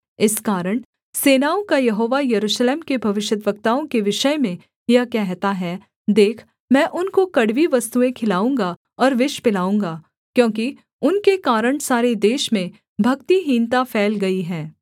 इस कारण सेनाओं का यहोवा यरूशलेम के भविष्यद्वक्ताओं के विषय में यह कहता है देख मैं उनको कड़वी वस्तुएँ खिलाऊँगा और विष पिलाऊँगा क्योंकि उनके कारण सारे देश में भक्तिहीनता फैल गई है